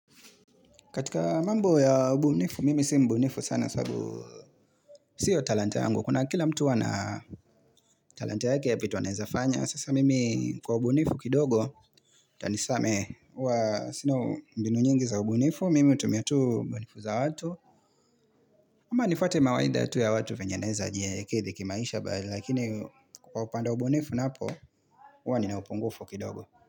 Katika mambo ya ubunifu, mimi si mbunifu sana sababu siyo talanta yangu. Kuna kila mtu wana talanta yake ya vitu anaeza fanya. Sasa mimi kwa ubunifu kidogo, utanisamehe huwa sina mbinu nyingi za ubunifu, mimi utumiatu ubunifu za watu. Ama nifuate mawaidha tu ya watu venye naeza ji kidhi kimaisha, lakini kwa upande wa ubunifu naapo, huwa nina upungufu kidogo.